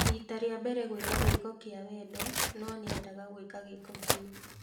Rita rĩa mbere gwĩka gĩĩko kĩa wendo no nĩendaga gwĩka gĩĩko kĩu